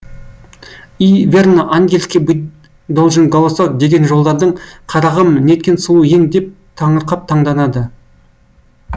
и верно ангельский быть должен голосок деген жолдардың қарағым неткен сұлу ең деп таңырқап таңданады